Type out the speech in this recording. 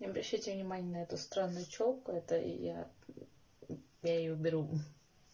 не обращайте внимания на эту странную чёлку это я её я её уберу мм